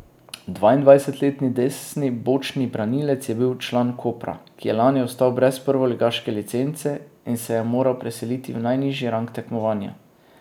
Dvaindvajsetletni desni bočni branilec je bil član Kopra, ki je lani ostal brez prvoligaške licence in se je moral preseliti v najnižji rang tekmovanja.